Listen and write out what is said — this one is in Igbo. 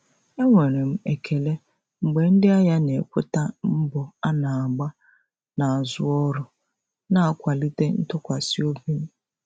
Enwere m ekele mgbe ndị ahịa na-ekweta mbọ a na-agba n'azụ ọrụ, na-akwalite ntụkwasị obi m.